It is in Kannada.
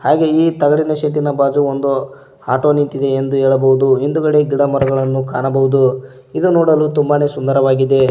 ಹಾಗೆ ಈ ತಗಡಿನ ಶೆಡ್ಡಿನ ಬಾಜು ಒಂದು ಆಟೋ ನಿಂತಿದೆ ಎಂದು ಹೇಳಬಹುದು ಹಹಿಂದ್ಗಡೆ ಗಿಡಮರಗಳನ್ನು ಕಾಣಬಹುದು ಇದು ನೋಡಲು ತುಂಬಾನೇ ಸುಂದರವಾಗಿದೆ.